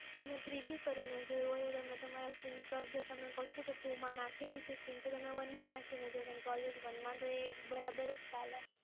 તમે three g કરીને જોયું, હવે તમે તમારા sim slot જો તમે કો છો કે two માં નાખેલું છે, તો તમે one માં નાખીને જુઓ કેમ કે always one માં તો એ બરાબર જ ચાલે.